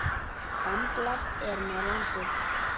Gamblað er með landið.